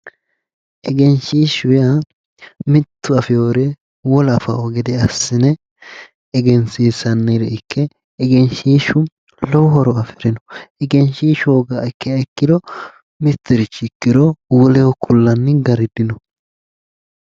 Egenshshiishshu yaa mitttu manchi afeewore wolu manchi afanno gede assine odeessinanniha ikkanna egenshshiishshu lowo horo afirino iso horoonsineemmokkiha ikkiro mittirichi ikkiro woleho kulleemmo Gari dino